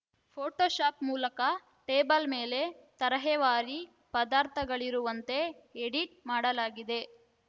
photo shop ಮೂಲಕ table ಮೇಲೆ ತರಹೇವಾರಿ ಪದಾರ್ಥಗಳಿರುವಂತೆ ಎಡಿಟ್‌ ಮಾಡಲಾಗಿದೆ